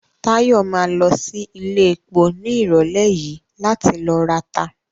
Táyọ̀ ma lọ sí iléepo ní ìrọ̀lẹ́ yìí láti ló rata